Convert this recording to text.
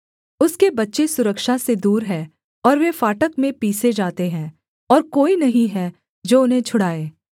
उसके बच्चे सुरक्षा से दूर हैं और वे फाटक में पीसे जाते हैं और कोई नहीं है जो उन्हें छुड़ाए